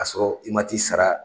Ka sɔrɔ i man t'i sara